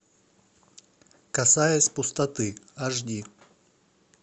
касаясь пустоты аш ди